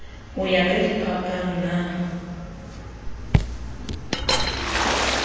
ho ya ka diphapang na